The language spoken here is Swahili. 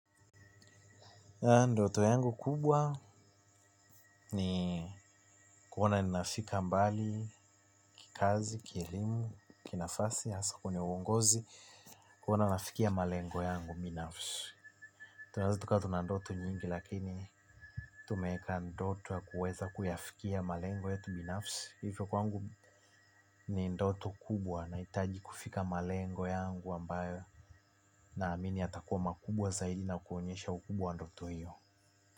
Ndoto yangu kubwa ni kuona ninafika mbali kikazi, kielimu, kinafasi, hasa kwenye uongozi, kuona nafikia malengo yangu binafsi. Tunaeza tukawa tuna ndoto nyingi lakini tumeeka ndoto ya kuweza kuyafikia malengo yetu binafsi. Hivyo kwangu ni ndoto kubwa nahitaji kufika malengo yangu ambayo naamini yatakuwa makubwa zaidi na kuonyesha ukubwa wa ndoto hiyo.